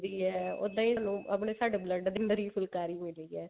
ਵੀ ਹੈ ਉੱਦਾਂ ਹੀ ਲੋਕ ਸਾਡੇ blood ਦੇ ਅੰਦਰ ਹੀ ਫੁਲਕਾਰੀ ਮਿਲੀ ਹੈ